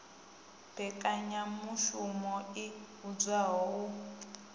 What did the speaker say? mmbekanyamushumo i vhidzwaho u p